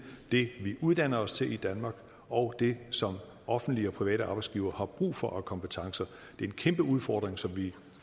det vi uddanner os til danmark og det som offentlige og private arbejdsgivere har brug for af kompetencer det er en kæmpe udfordring som vi